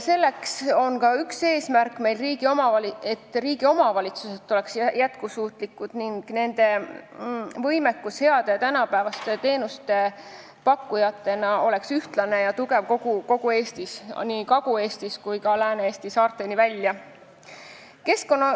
Selle teenistuses on ka see eesmärk, et riigi omavalitsused oleks jätkusuutlikud ning nende võimekus heade ja tänapäevaste teenuste pakkujatena oleks ühtlane ja tugev kogu Eestis, Kagu-Eestist Lääne-Eesti saarteni välja.